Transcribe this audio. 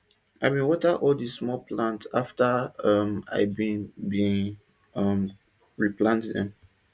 i bin water all di small plant afta um i bin bin um replant dem